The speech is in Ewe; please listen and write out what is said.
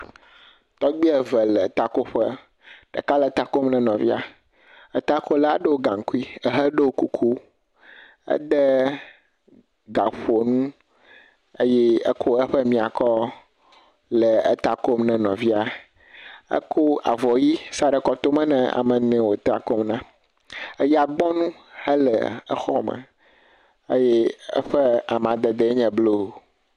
Tɔgbui eye le ta ko ƒe. Ɖeka le ta kom na nɔvia. Éta kola ɖɔe gankui eye woɖɔe kuku. Ede gaƒonu eƒe wokɔ eƒe mia si nɔ ta kom na nɔvia. Ekɔ avɔ ʋi sa ɖe kɔtome na ame yike wo ta kom na. eya gbɔnu ele exɔa me eye sƒe amadede le blu.